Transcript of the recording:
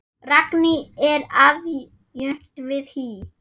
Ragný er aðjunkt við HÍ.